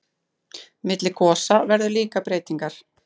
Milli gosa verða líka breytingar.